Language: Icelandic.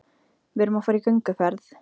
Við erum að fara í gönguferð.